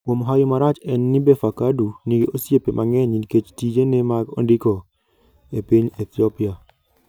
kuom hawi marach en ni, Befeqadu nigi osiepe mang'eny nikech tijene mag ndiko e piny Ethiopia.